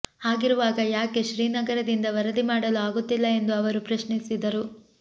ಹಾಗಿರುವಾಗ ಯಾಕೆ ಶ್ರೀನಗರದಿಂದ ವರದಿ ಮಾಡಲು ಆಗುತ್ತಿಲ್ಲ ಎಂದು ಅವರು ಪ್ರಶ್ನಿಸಿದರು